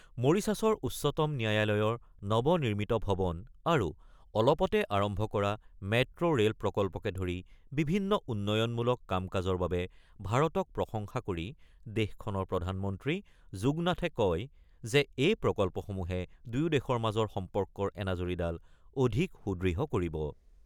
মৰিছাছৰ উচ্চতম ন্যায়ালয়ৰ নৱনিৰ্মিত ভৱন আৰু অলপতে আৰম্ভ কৰা মেট্ৰো ৰে'ল প্ৰকল্পকে ধৰি বিভিন্ন উন্নয়নমূলক কাম-কাজৰ বাবে ভাৰতক প্ৰশংসা কৰি দেশখনৰ প্ৰধানমন্ত্ৰী যুগনাথে কয় যে এই প্ৰকল্পসমূহে দুয়োখন দেশৰ মাজৰ সম্পৰ্কৰ এনাজৰীডাল অধিক সুদৃঢ় কৰিব।